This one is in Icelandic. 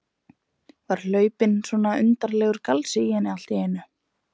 Var hlaupinn svona undarlegur galsi í hana allt í einu?